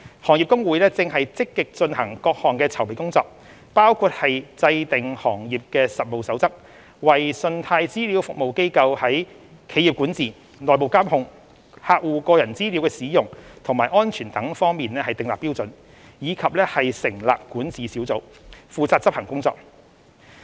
行業公會正積極進行各項籌備工作，包括制訂《行業實務守則》，為信貸資料服務機構在企業管治、內部監控、客戶個人資料的使用和安全等方面訂立標準；以及成立管治小組，負責執行工作。